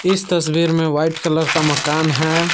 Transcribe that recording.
इस तस्वीर में व्हाइट कलर का मकान है।